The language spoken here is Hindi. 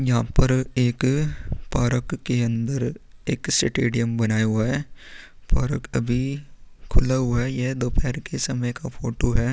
यहाँ पर एक पारक के अंदर एक सटेडियम बनाया हुआ है पारक अभी खुला हुआ है यह दोपहर के समय का फोटो है.